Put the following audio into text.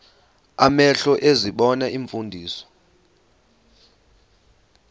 amehlo ezibona iimfundiso